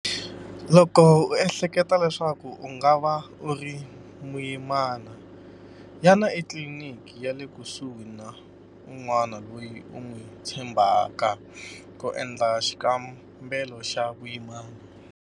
Loko u ehleketa leswaku u nga va u ri muyimana, yana etliliniki ya le kusuhi na un'wana loyi u n'wi tshembhaka ku endla xikambelo xa vuyimana.